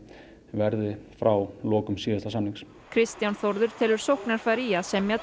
verði frá lokum síðasta samnings Kristján Þórður telur sóknarfæri í að semja